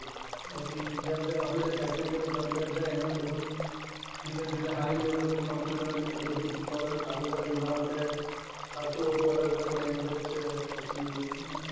પછી જેમ જેમ આપડે second year third year જાય એમ એમ બધું ધીરે ધીરે બધું high level નું computer બધું શીખવાડવાનું ચાલુ કરે એમાં આપડે ખાશું બધું અલગ language છે પછી